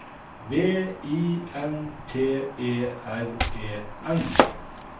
V I N T E R E N